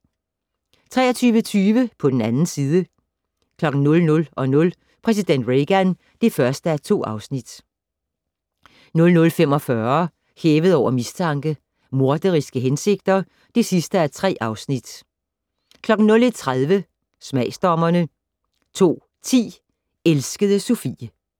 23:30: På den 2. side 00:00: Præsident Reagan (1:2) 00:45: Hævet over mistanke: Morderiske hensigter (3:3) 01:30: Smagsdommerne 02:10: Elskede Sophie